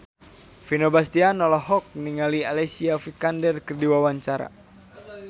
Vino Bastian olohok ningali Alicia Vikander keur diwawancara